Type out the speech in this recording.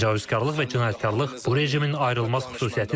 Təcavüzkarlıq və cinayətkarlıq bu rejimin ayrılmaz xüsusiyyətidir.